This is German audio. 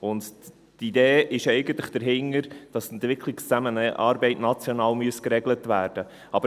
Und die Idee dahinter ist eigentlich, dass die Entwicklungszusammenarbeit national geregelt werden müsste.